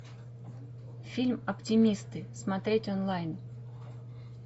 фильм оптимисты смотреть онлайн